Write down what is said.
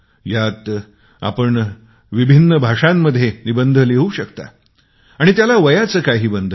यात आपण विविध भाषेत निबंध लिहू शकता आणि त्यात काही वयाचे बंधन नाही